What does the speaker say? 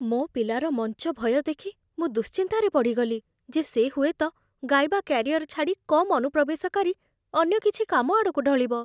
ମୋ ପିଲାର ମଞ୍ଚ ଭୟ ଦେଖି ମୁଁ ଦୁଶ୍ଚିନ୍ତାରେ ପଡ଼ିଗଲି ଯେ ସେ ହୁଏତ ଗାଇବା କ୍ୟାରିଅର ଛାଡ଼ି କମ୍ ଅନୁପ୍ରବେଶକାରୀ ଅନ୍ୟ କିଛି କାମ ଆଡ଼କୁ ଢଳିବ ।